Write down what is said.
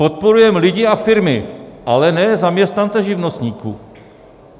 Podporujeme lidi a firmy, ale ne zaměstnance živnostníků.